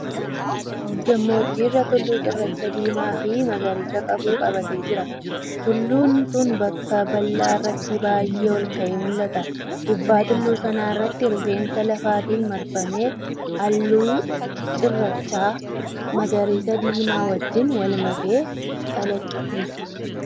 Gammoojjii irra tulluun cirracha diimaa fi magariisa qabu qabatee jira. Tulluun sun bakka bal’aa irratti baay’ee ol ka’ee mul’ata. Gubbaa tulluu sana irratti rifeensa lafaatiin marfamee halluun cirracha magariisa diimaa wajjin wal makamee calaqqisa.